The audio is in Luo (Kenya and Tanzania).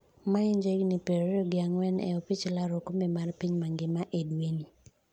ma en ja higni piero ariyo gi ang'wen e opich laro okombe mar piny mangima e dwe'ni